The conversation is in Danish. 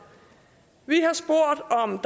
vi